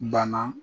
Banna